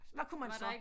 Hvad kunne man så